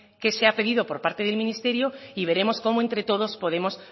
que se ha pedido por parte del ministerio y veremos cómo entre todos podemos